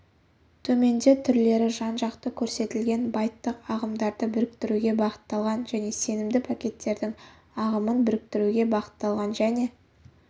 төменде түрлері жан-жақты көрсетілген байттық ағымдарды біріктіруге бағытталған және сенімді пакеттердің ағымын біріктіруге бағытталған және